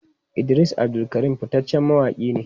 Idris Abdulkarim fitaccen mawaki ne.